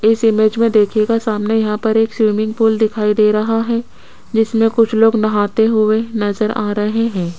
इस इमेज में देखिएगा सामने यहां पे एक स्विमिंग पूल दिखाई दे रहा है जिसमें कुछ लोग नहाते हुए नजर आ रहे हैं।